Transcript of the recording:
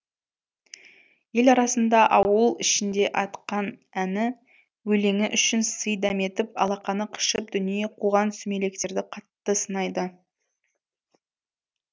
ел арасында ауыл ішінде айтқан әні өлеңі үшін сый дәметіп алақаны қышып дүние қуған сүмелектерді қатты сынайды